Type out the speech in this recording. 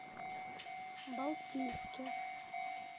балтийске